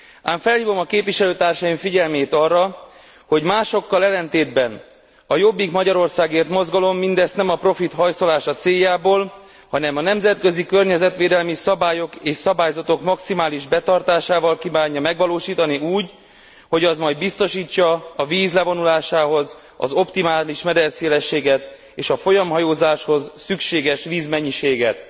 Ám felhívom a képviselőtársaim figyelmét arra, hogy másokkal ellentétben a Jobbik Magyarországért mozgalom mindezt nem a profit hajszolása céljából, hanem a nemzetközi környezetvédelmi szabályok és szabályzatok maximális betartásával kívánja megvalósítani úgy, hogy az majd biztosítsa a víz levonulásához az optimális mederszélességet és a folyamhajózáshoz szükséges vízmennyiséget.